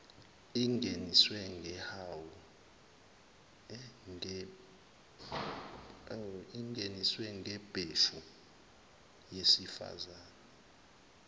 ingeniswe ngembewu yesifazane